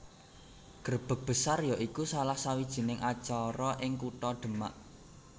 Grebeg Besar ya iku salah sawijining acara ing kutha Demak